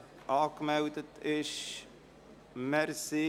Der Verpflichtungskredit ist mit folgender Auflage zu ergänzen: